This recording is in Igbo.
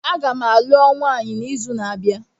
Agam alụọ nwaanyi n'izu na-abịa